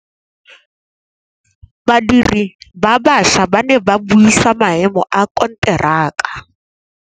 Badiri ba baša ba ne ba buisa maêmô a konteraka.